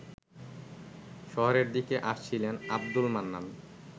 শহরের দিকে আসছিলেন আবদুল মান্নান